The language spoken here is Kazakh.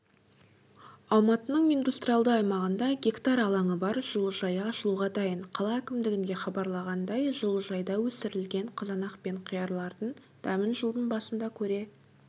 алматының индустриалды аймағында га алаңы бар жылыжайы ашылуға дайын қала әкімдігінде хабарлағандай жылыжайда өсірілген қызынақ пен қиярлардың дәмін жылдың басында көре